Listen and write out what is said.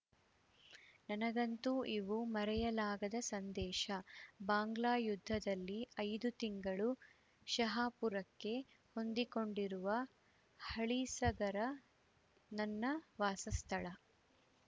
ನನಗಂತೂ ಇವು ಮರೆಯಲಾಗದ ಸಂದೇಶ ಬಾಂಗ್ಲಾ ಯುದ್ಧದಲ್ಲಿ ಐದು ತಿಂಗಳು ಶಹಾಪುರಕ್ಕೆ ಹೊಂದಿಕೊಂಡಿರುವ ಹಳಿಸಗರ ನನ್ನ ವಾಸಸ್ಥಳ